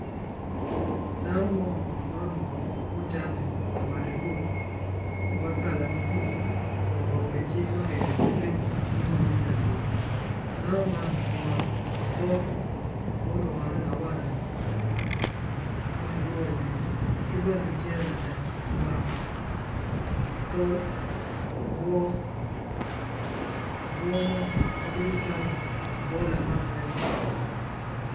Dano mo ma oruku kor cati labade bor ma kala ma bulu kun oruku gi cing ma kiyubu ki tiko icinge ma yung lacuc dano man omako otok mulwore lawala ma kiruku iwic ki bene cinge ma lacam omako tol obwo, obwo mo ma bedo calo obwo lamak rec